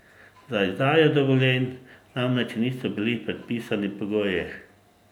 Za izdajo dovoljenj namreč niso bili predpisani pogoji.